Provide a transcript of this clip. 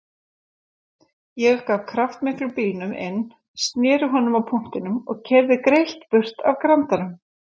Ég gaf kraftmiklum bílnum inn, sneri honum á punktinum og keyrði greitt burt af Grandanum.